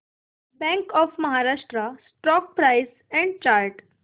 bank of Maharashtra stock price and chart